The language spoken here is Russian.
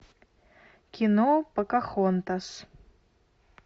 кино покахонтас